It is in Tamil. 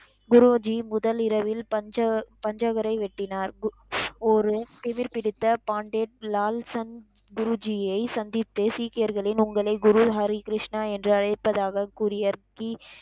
குருஜி முதல் இரவில் பஞ்ச பஞ்சவரை வெட்டினார் ஒரு திமிர் பிடித்த பாண்டே லால்சம் குருஜியை சந்தித்து சீக்கியர்களின் உங்களை குரு ஹரி கிருஷ்ணா என்று அழைப்பதாக கூரியர் பி,